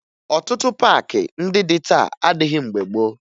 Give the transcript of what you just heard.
Ọtụtụ paakị ndị dị taa adịghị mgbe gboo